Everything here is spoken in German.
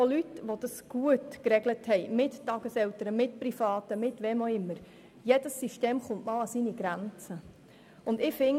Jedes System kommt an seine Grenzen, auch bei Leuten, die eine gute Regelung haben, sei dies mit Tageseltern, sei dies mit Privaten oder anderen.